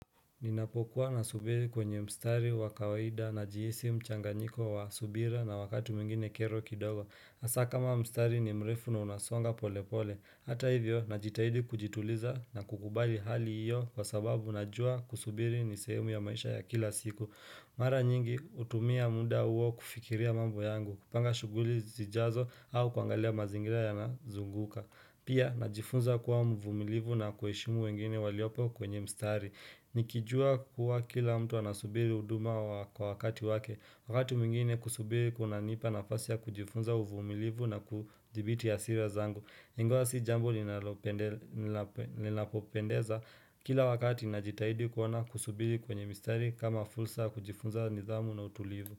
Ninapokuwa nasubiri kwenye mstari wa kawaida najihisi mchanganyiko wa subira na wakati mwingine kero kidogo. Hasaa, kama mstari ni mrefu na unasonga pole pole. Hata hivyo, najitahidi kujituliza na kukubali hali iyo kwa sababu najua kusubiri ni sehemu ya maisha ya kila siku Mara nyingi hutumia muda huo kufikiria mambo yangu, kupanga shughuli zijazo au kuangalia mazingira yanazunguka. Pia najifunza kuwa mvumilivu na kuheshimu wengine waliopo kwenye mstari. Nikijua kuwa kila mtu anasubiri huduma kwa wakati wake. Wakati mwingine kusubiri kunanipa nafasi ya kujifunza uvumilivu na kudhibiti hasira zangu. Ingawa si jambo linalopendeza kila wakati najitahidi kuona kusubiri kwenye mistari kama fursa ya kujifunza nidhamu na utulivu.